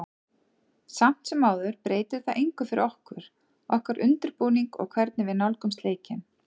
Samt sem áður breytir það engu fyrir okkur, okkar undirbúning og hvernig við nálgumst leikinn.